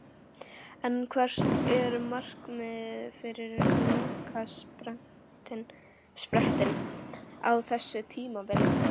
En hvert er markmiðið fyrir lokasprettinn á þessu tímabili?